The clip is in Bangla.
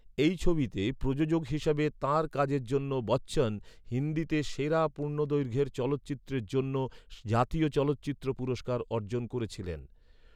এই ছবিতে প্রযোজক হিসাবে, তাঁর কাজের জন্য বচ্চন, হিন্দিতে সেরা পূর্ণদৈর্ঘ্যের চলচ্চিত্রের জন্য জাতীয় চলচ্চিত্র পুরস্কার অর্জন করেছিলেন।